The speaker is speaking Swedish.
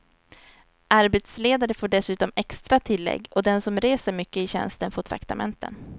Arbetsledare får dessutom extra tillägg och den som reser mycket i tjänsten får traktamenten.